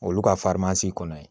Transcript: Olu ka kɔnɔ yen